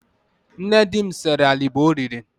Nne di m sere alịbọ o riri.